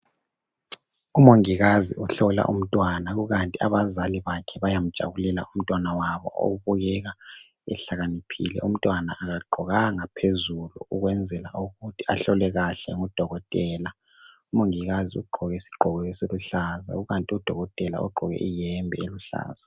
Umongikazi ohlola umntwana, kukanti abazali bakhe bayamjabulela umntwana wabo okubukeka ehlakaniphile. Umntwana akagqokanga phezulu ukwenzela ukuthi ahlolwe kahle ngudokotela. Umongikazi ugqoke isigqoko esiluhlaza kukanti udokotela ugqoke iyembe eluhlaza.